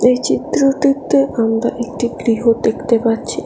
এই চিত্রটিতে আমরা একটি গৃহ দেখতে পাচ্ছি।